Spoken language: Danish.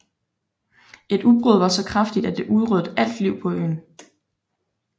Et udbrud var så kraftigt at det udryddede alt liv på øen